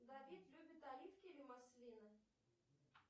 давид любит оливки или маслины